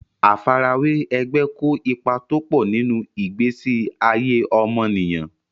Àfarawé ẹgbẹ́ kó ipa tọ́pọ̀ nínú ìgbésí ayé ọmọnìyàn.